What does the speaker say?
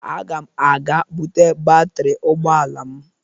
Aga m aga buta batịrị ụgbọala m